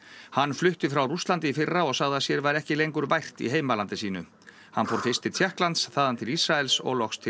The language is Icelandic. hann flutti frá Rússlandi í fyrra og sagði að sér væri ekki lengur vært í heimalandi sínu hann fór fyrst til Tékklands þaðan til Ísraels og loks til